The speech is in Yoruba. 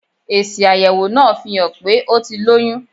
Èsì àyẹ̀wò náà fihàn pé ó ti lóyún.